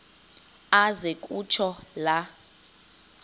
aze kutsho la